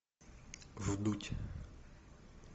вдудь